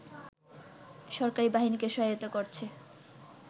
সরকারি বাহিনীকে সহায়তা করছে